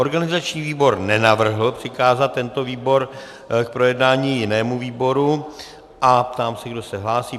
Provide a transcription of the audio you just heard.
Organizační výbor nenavrhl přikázat tento bod k projednání jinému výboru a ptám se, kdo se hlásí.